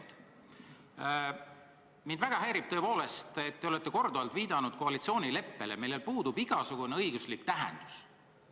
Mind tõepoolest väga häirib see, et olete korduvalt viidanud koalitsioonileppele, millel puudub igasugune õiguslik tähendus.